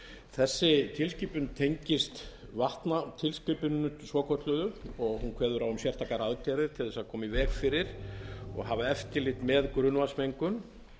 þessi tilskipun tengist vatnatilskipuninni svokölluðu og hún kveður á um sérstakar aðgerðir til þess að koma í veg fyrir og hafa eftirlit með grunnvatnsmengun